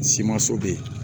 bɛ yen